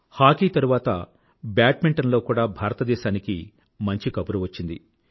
hockey తరువాత badminton లో కూడా భారతదేశానికి మంచి కబురు వచ్చింది